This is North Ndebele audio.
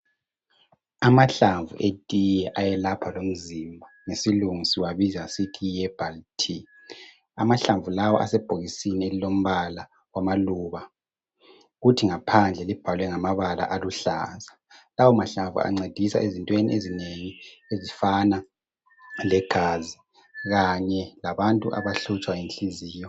Amahlamvu etiye ayelapha lomzimba, ngesilungu siwabiza siithi yiherbal tea. Amahlamvu lawo asebhokisini elilombala wamaluba. Kuthi ngaphandle libhalwe ngamabala aluhlaza. Lawomahlamvu ancedisa ezintweni ezinengi ezifana legazi, kanye labantu abahlutshwa yinhliziyo.